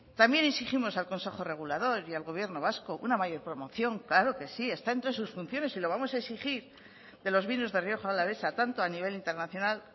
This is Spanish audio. también exigimos al consejo regulador y al gobierno vasco una mayor promoción claro que sí está entre sus funciones y lo vamos a exigir de los vinos de rioja alavesa tanto a nivel internacional